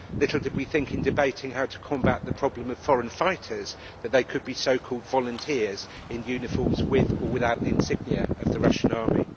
Little did we think, in debating how to combat the problem of foreign fighters, that they could be so called volunteers in uniforms with or without the insignia of the Russian army.